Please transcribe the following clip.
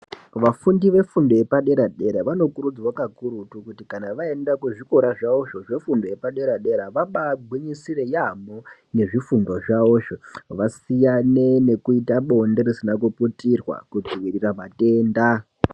Vafundi vefundo yepadera dera vanokurudzirwa kakurutu kuti kana vaenda kuzvikora zvavozvo zvefundo yepadera dera, vabagwinyisire yaamho nezvifundo zvavozvo. Vasiyane nekuita bonde risina kuputirwa kudzivirira matenda.